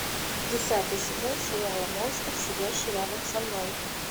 десятый сезон сериала монстр сидящий рядом со мной